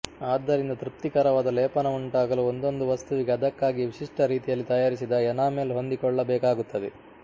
ಆದ್ದರಿಂದ ತೃಪ್ತಿಕರವಾದ ಲೇಪನವುಂಟಾಗಲು ಒಂದೊಂದು ವಸ್ತುವಿಗೆ ಅದಕ್ಕಾಗಿಯೇ ವಿಶಿಷ್ಟ ರೀತಿಯಲ್ಲಿ ತಯಾರಿಸಿದ ಎನಾಮೆಲ್ ಹೊಂದಿಕೊಳ್ಳಬೇಕಾಗುತ್ತದೆ